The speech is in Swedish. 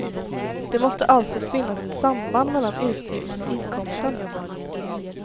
Det måste alltså finnas ett samband mellan utgiften och inkomsten.